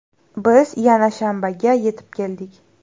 Biz yana shanbaga yetib keldik.